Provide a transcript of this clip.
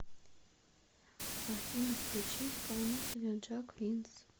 афина включи исполнителя джэк винс